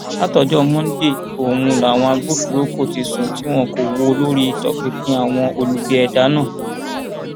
láti ọjọ monde ọhún làwọn agbófinró kò ti sùn tí wọn kò wò lórí ìtọpinpin àwọn olubi ẹdá náà